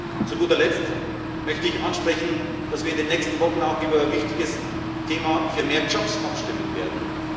Und zu guter Letzt möchte ich ansprechen, dass wir in den nächsten Wochen auch über ein wichtiges Thema für mehr Jobs abstimmen werden.